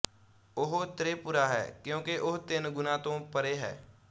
ਉਹ ਤ੍ਰਿਪੁਰਾ ਹੈ ਕਿਉਂਕਿ ਉਹ ਤਿੰਨ ਗੁਣਾਂ ਤੋਂ ਪਰੇ ਹੈ